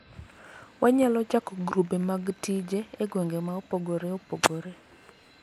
wanyalo chako grube mag tije e gwenge ma opogore opogore